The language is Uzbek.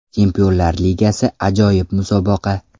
Chempionlar Ligasi ajoyib musobaqa.